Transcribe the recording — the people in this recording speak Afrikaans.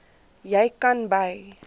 jy kan by